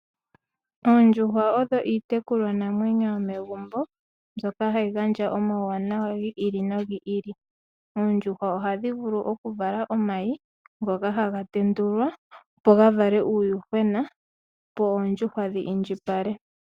Oondjuhwa odho iitekulwa namwenyo yomegumbo mbyoka hayi gandja omauwanawa gi ili no gi ili. Oondjuhwa ohadhi vulu oku vala omayi ngoka haga tendulwa opo ga vale uuyuhwena opo oondjuhwa dhi indjipale.